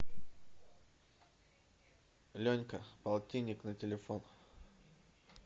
ленька полтинник на телефон